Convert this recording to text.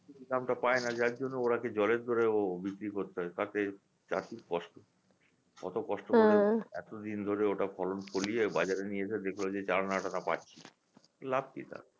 দামটা পায়না যার জন্য ওরা কি জলের দরে ও বিক্রি করতে হয় তাতে চাষির কষ্ট করে এতদিন ধরে ওটা ফলন ফলিয়ে বাজারে নিয়ে যায় দেখল যে চার আনা আট আনা পাচ্ছি লাভ কি তাতে